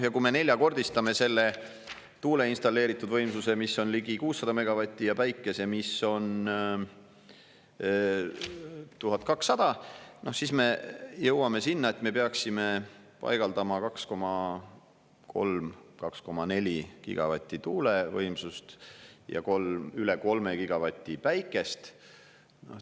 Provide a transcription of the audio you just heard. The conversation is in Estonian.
Ja kui me neljakordistame selle tuule installeeritud võimsuse, mis on ligi 600 megavatti, ja päikese, mis on 1200 megavatti, siis me jõuame sinna, et me peaksime paigaldama 2,3–2,4 gigavatti tuulevõimsust ja 3, üle 3 gigavati päikest.